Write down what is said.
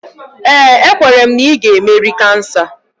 Ee, ekwere m na ị ga-emeri kansa